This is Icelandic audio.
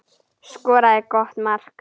Skoraði gott mark.